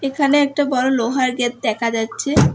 এখানে একটা বড়ো লোহার গেত দেখা যাচ্ছে।